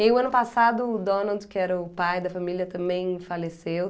E o ano passado o Donald, que era o pai da família, também faleceu.